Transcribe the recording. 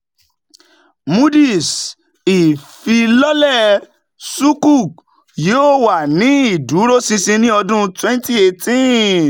moody's: ìfilọlẹ sukuk yóò wà ní ìdúróṣinṣin ní ọdún twenty eighteen